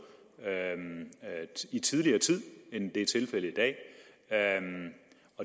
tidligere end det er tilfældet i dag